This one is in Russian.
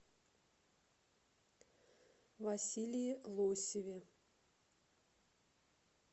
василии лосеве